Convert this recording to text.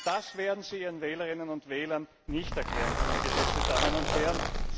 Das werden Sie Ihren Wählerinnen und Wählern nicht erklären können, geschätzte Damen und Herren!